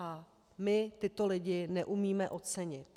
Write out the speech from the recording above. A my tyto lidi neumíme ocenit.